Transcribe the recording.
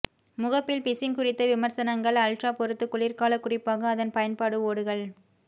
முகப்பில் பிசின் குறித்த விமர்சனங்கள் அல்ட்ரா பொருத்து குளிர்கால குறிப்பாக அதன் பயன்பாடு ஓடுகள்